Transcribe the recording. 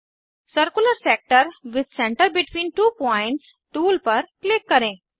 circular sector with centre between two points tool पर click करें